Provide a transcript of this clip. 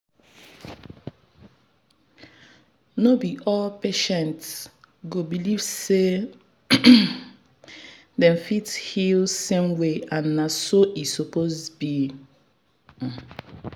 no be all patient go believe say dem fit heal same way and na so e suppose be.